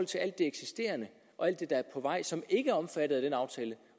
til alt det eksisterende og alt det der er på vej som ikke er omfattet af den aftale